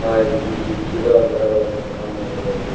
ಹಾಗೆ ಇಲ್ಲಿ ಗಿಡ ಮರಗಳನ್ನು ಕಾಣಬಹುದು.